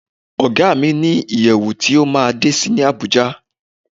Ọ̀gá mi ní ìyẹ̀wù tí ó máa ń dé sí ní Àbújá.